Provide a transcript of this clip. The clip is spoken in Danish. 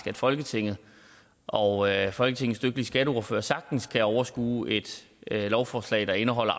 at folketinget og folketingets dygtige skatteordførere sagtens kan overskue et lovforslag der indeholder